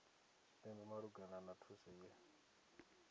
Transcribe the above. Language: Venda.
tshipembe malugana na thuso ye